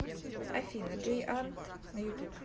афина джейант на ютуб